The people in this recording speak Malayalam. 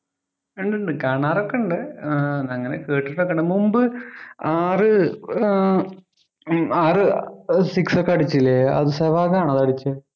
ഇണ്ട് ഇണ്ട് കാണാറൊക്കെ ഇണ്ട് ആഹ് അങ്ങനെ കേട്ടിട്ടൊക്കെ ഇണ്ട് മുൻപ് ആറ് ആഹ് ആറ് six ഒക്കെ അടിച്ചില്ലേ അത് സേവാഗ് ആണോ അടിച്ചേ